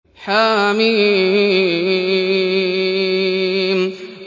حم